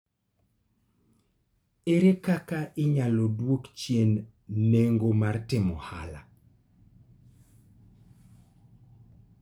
Ere kaka inyalo duok chien nengo mar timo ohala?